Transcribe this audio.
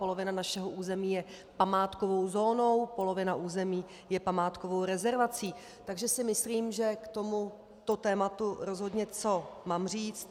Polovina našeho území je památkovou zónou, polovina území je památkovou rezervací, takže si myslím, že k tomuto tématu rozhodně mám co říct.